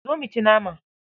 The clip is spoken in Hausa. Zo mu ci nama.